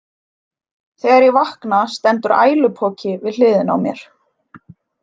Þegar ég vakna stendur ælupoki við hliðina á mér.